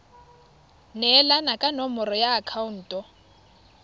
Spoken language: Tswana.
neelana ka nomoro ya akhaonto